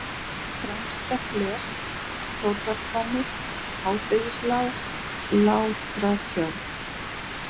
Fremsta-fles, Þórðarhvammur, Hádegislág, Látratjörn